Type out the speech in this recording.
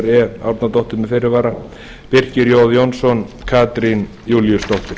e árnadóttir með fyrirvara birkir j jónsson katrín júlíusdóttir